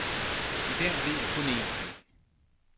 I dag ved jeg kun en ting.